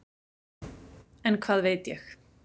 En hvað veit ég.